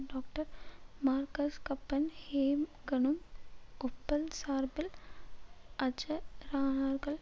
doctor Marcus கப்பன்ஹேம்கனும் Opel சார்பில் அஜரானார்கள்